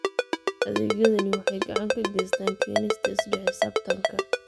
Adeegyadani waxay gacan ka geystaan ??keenista isla xisaabtanka.